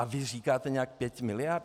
A vy říkáte nějakých pět miliard?